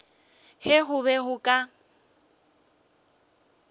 ge go be go ka